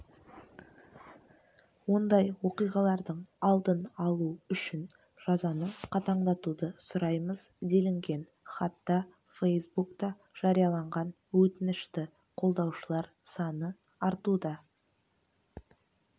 ондай оқиғалардың алдын алу үшін жазаны қатаңдатуды сұраймыз делінген хатта фейсбукта жарияланған өтінішті қолдаушылар саны артуда